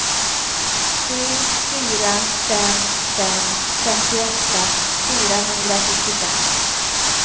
sju fyra fem fem femtioåtta fyrahundrasjuttiofem